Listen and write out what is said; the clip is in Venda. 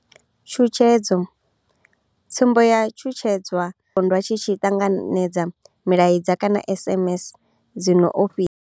Tshutshedzo tsumbo ya u shushedzwa ndi pondwa tshi tshi ṱanganedza milaedza kana SMS dzi no ofhisa.